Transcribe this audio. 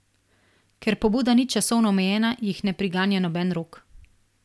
Ker pobuda ni časovno omejena, jih ne priganja noben rok.